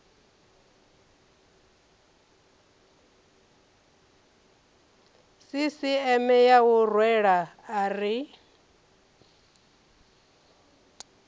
sisieme ya u rwela ari